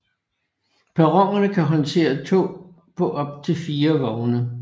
Perronerne kan håndtere tog på op til fire vogne